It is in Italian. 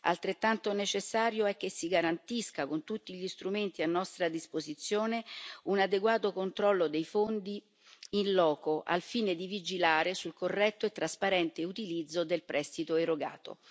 Altrettanto necessario è che si garantisca con tutti gli strumenti a nostra disposizione un adeguato controllo dei fondi in loco, al fine di vigilare sul corretto e trasparente utilizzo del prestito erogato.